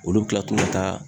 Olu be kila tun ka taa